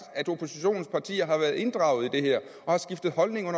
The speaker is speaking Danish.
at oppositionens partier har været inddraget og har skiftet holdning